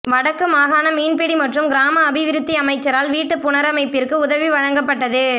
வடக்கு மாகாண மீன்பிடி மற்றும் கிராம அபிவிருத்தி அமைச்சரால் வீட்டுப் புனரமைப்பிற்கு உதவி வழங்கப்பட்டது